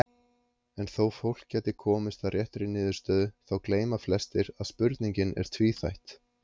En þó fólk gæti komist að réttri niðurstöðu þá gleyma flestir að spurningin er tvíþætt.